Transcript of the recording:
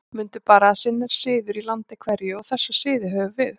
Mundu bara að sinn er siður í landi hverju, og þessa siði höfum við.